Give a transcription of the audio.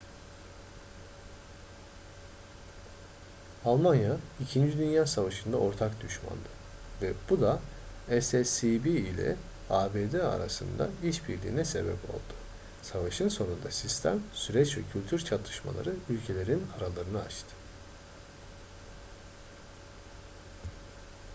almanya 2. dünya savaşı'nda ortak düşmandı ve bu da sscb ile abd arasında işbirliğine sebep oldu savaşın sonunda sistem süreç ve kültür çatışmaları ülkelerin aralarını açtı